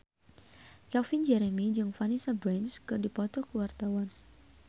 Calvin Jeremy jeung Vanessa Branch keur dipoto ku wartawan